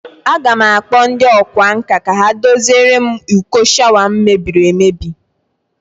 A ga m akpo ndi okwa nka ka ha doziere m uko shawa m mebiri emebi